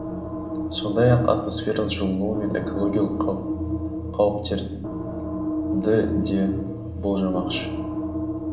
сондай ақ атмосфераның жылынуы мен экологиялық қауіптерді де болжамақшы